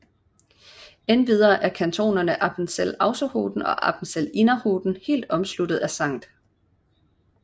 Endvidere er kantonerne Appenzell Ausserrhoden og Appenzell Innerrhoden helt omsluttet af St